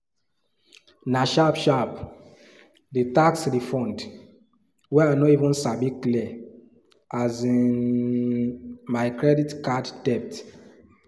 nah sharp sharp the tax refund wey i no even sabi clear um my credit card debt